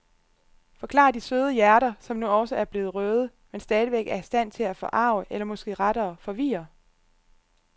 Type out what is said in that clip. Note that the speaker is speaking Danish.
Forklarer de søde hjerter, som nu også er blevet røde, men stadigvæk er i stand til at forarge eller måske rettere forvirre.